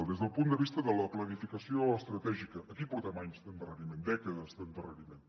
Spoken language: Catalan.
des del punt de vista de la planificació estratègica aquí portem anys d’endarreriment dècades d’endarreriment